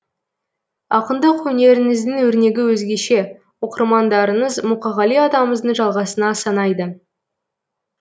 ақындық өнеріңіздің өрнегі өзгеше оқырмандарыңыз мұқағали атамыздың жалғасына санайды